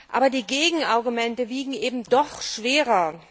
Aber die Gegenargumente wiegen eben doch schwerer.